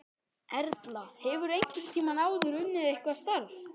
Erla: Hefurðu einhvern tímann áður unnið eitthvað starf?